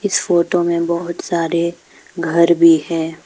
इस फोटो में बहोत सारे घर भी है।